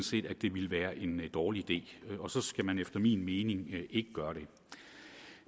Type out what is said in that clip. set at det ville være en dårlig idé og så skal man efter min mening ikke gøre